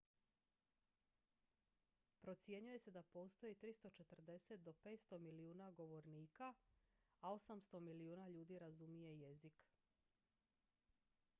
procjenjuje se da postoji 340 do 500 milijuna govornika a 800 milijuna ljudi razumije jezik